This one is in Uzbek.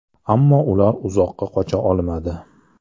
Ammo ular uzoqqa qocha olmadi.